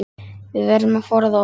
Við verðum að forða okkur.